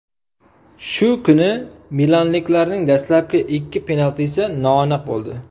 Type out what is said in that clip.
Shu kuni milanliklarning dastlabki ikki penaltisi noaniq bo‘ldi.